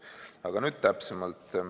Aga nüüd täpsemalt.